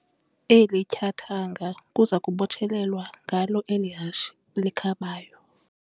Eli tyathanga kuza kubotshelelwa ngalo eli hashe likhabayo.